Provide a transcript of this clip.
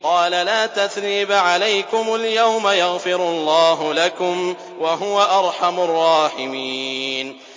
قَالَ لَا تَثْرِيبَ عَلَيْكُمُ الْيَوْمَ ۖ يَغْفِرُ اللَّهُ لَكُمْ ۖ وَهُوَ أَرْحَمُ الرَّاحِمِينَ